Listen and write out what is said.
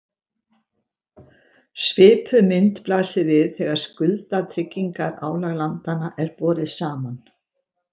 Svipuð mynd blasir við þegar skuldatryggingarálag landanna er borið saman.